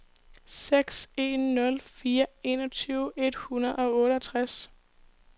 seks en nul fire enogtyve et hundrede og otteogtres